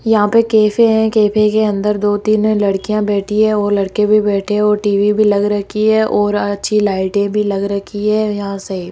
यहां पे कैफे हैं कैफे के अंदर दो तीन लड़कियां बैठी है वो लड़के भी बैठे हैं वो टी_वी भी लग रखी है और अच्छी लाइटें भी लग रखी है यहां से --